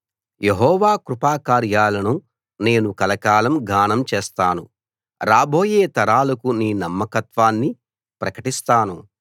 యెహోవా కృపాకార్యాలను నేను కలకాలం గానం చేస్తాను రాబోయే తరాలకు నీ నమ్మకత్వాన్ని ప్రకటిస్తాను